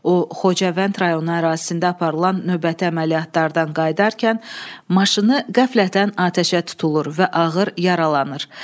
O Xocavənd rayonu ərazisində aparılan növbəti əməliyyatlardan qayıdarkən maşını qəflətən atəşə tutulur və ağır yaralanır.